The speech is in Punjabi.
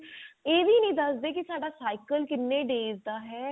ਇਹ ਵੀ ਨਹੀ ਦਸਦੇ ਕੀ ਸਾਡਾ cycle ਕਿੰਨੇ days ਦਾ ਹੈ